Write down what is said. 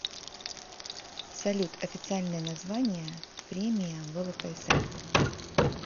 салют официальное название премия влксм